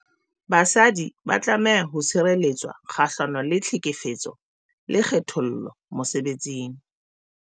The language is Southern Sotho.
Basadi ba tlameha ho tshireletswa kgahlano le tlhekefetso le kgethollo mosebetsing.